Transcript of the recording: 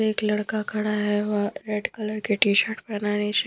एक लड़का खड़ा है वो रेड कलर के टी-शर्ट पहना है नीचे--